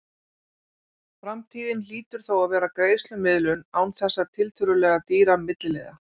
Framtíðin hlýtur þó að vera greiðslumiðlun án þessa tiltölulega dýra milliliðar.